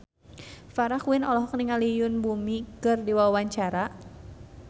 Farah Quinn olohok ningali Yoon Bomi keur diwawancara